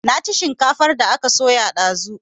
Na ci shinkafar da aka soya dazu